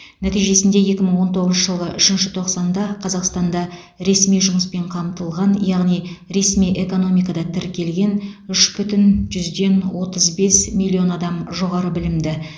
нәтижесінде екі мың он тоғызыншы жылғы үшінші тоқсанда қазақстанда ресми жұмыспен қамтылған яғни ресми экономикада тіркелген үш бүтін жүзден отыз бес миллион адам жоғары білімді